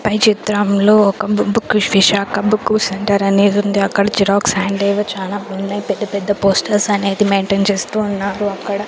పై చిత్రంలో ఒక బు బుక్కు విశాఖ బుక్కు సెంటర్ అనేదుంది అక్కడ జిరాక్స్ అండ్ ఏవో చానా ఉన్నాయ్ పెద్ద పెద్ద పోస్టర్స్ అనేది మెయింటేన్ చేస్తూ ఉన్నారు అక్కడ.